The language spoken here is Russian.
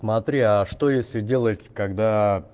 смотри а что если делает когда